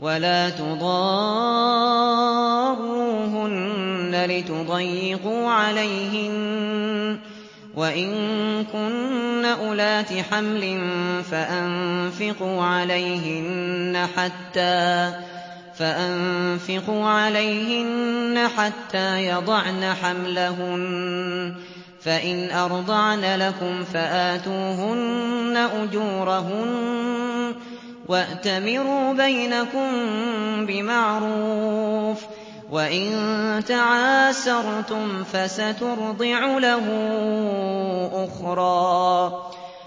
وَلَا تُضَارُّوهُنَّ لِتُضَيِّقُوا عَلَيْهِنَّ ۚ وَإِن كُنَّ أُولَاتِ حَمْلٍ فَأَنفِقُوا عَلَيْهِنَّ حَتَّىٰ يَضَعْنَ حَمْلَهُنَّ ۚ فَإِنْ أَرْضَعْنَ لَكُمْ فَآتُوهُنَّ أُجُورَهُنَّ ۖ وَأْتَمِرُوا بَيْنَكُم بِمَعْرُوفٍ ۖ وَإِن تَعَاسَرْتُمْ فَسَتُرْضِعُ لَهُ أُخْرَىٰ